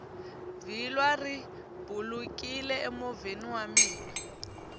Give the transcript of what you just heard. vhilwa ri bulukini emovheni wa mina